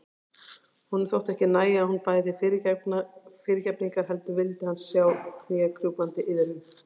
Honum þótti ekki nægja að hún bæði fyrirgefningar heldur vildi hann sjá knékrjúpandi iðrun.